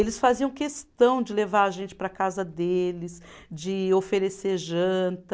Eles faziam questão de levar a gente para a casa deles, de oferecer janta.